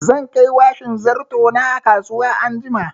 Zan kai washin zarto na a kasuwa anjima.